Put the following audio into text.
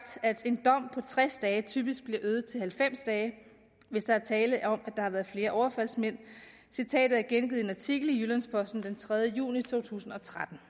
at en dom på tres dage typisk bliver øget til halvfems dage hvis der er tale om at der har været flere overfaldsmænd citatet er gengivet i en artikel i jyllands posten den tredje juni to tusind og tretten